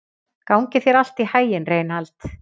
Gangi þér allt í haginn, Reynald.